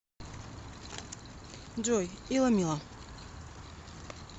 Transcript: джой иломило